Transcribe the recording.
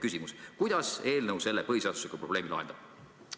" Küsimus: kuidas eelnõu selle põhiseadusega seotud probleemi lahendab?